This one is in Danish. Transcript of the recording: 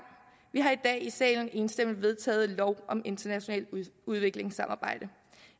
vi har i dag i salen enstemmig vedtaget lov om internationalt udviklingssamarbejde